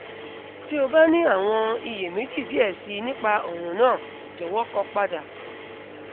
ti o ba ni awọn iyemeji diẹ sii nipa ọran naa jọwọ kọ pada